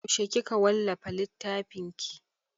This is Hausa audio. Yaushe kika wallafa littfin ki?